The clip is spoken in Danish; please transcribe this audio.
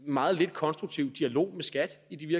meget lidt konstruktiv dialog med skat i de